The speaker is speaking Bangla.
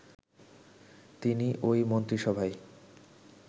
তিনি ওই মন্ত্রিসভায়